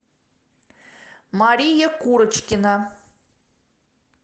мария курочкина